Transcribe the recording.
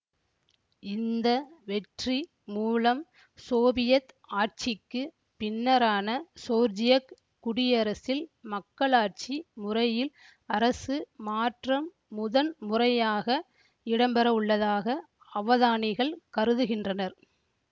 இந்த வெற்றி மூலம் சோவியத் ஆட்சிக்குப் பின்னரான சோர்ஜியக் குடியரசில் மக்களாட்சி முறையில் அரசு மாற்றம் முதன் முறையாக இடம்பெறவுள்ளதாக அவதானிகள் கருதுகின்றனர்